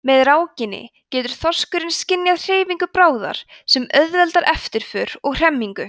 með rákinni getur þorskurinn skynjað hreyfingu bráðar sem auðveldar eftirför og hremmingu